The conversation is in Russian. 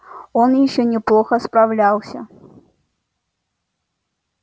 он ещё неплохо справлялся